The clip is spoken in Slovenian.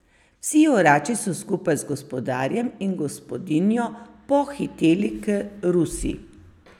Vsi orači so skupaj z gospodarjem in gospodinjo pohiteli k rusi.